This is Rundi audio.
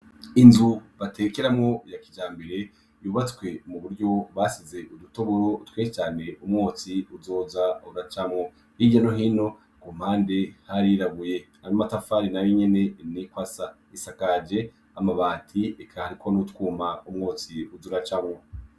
Inzu batekeramwo ya kijambere yubatswe mu buryo basize udutoboro twinshi cane umwotsi uzoza uracamwo. Hirya no hino ku mpande harirabuye, ayo matafari nayo nyene niko asa. Isakaje amabati eka hariko n'utwuma umwotsi uza uracamwo.